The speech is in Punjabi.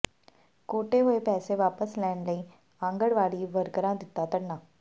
ਕੱਟੇ ਹੋਏ ਪੈਸੇ ਵਾਪਸ ਲੈਣ ਲਈ ਆਂਗਨਵਾੜੀ ਵਰਕਰਾਂ ਦਿੱਤਾ ਧਰਨਾ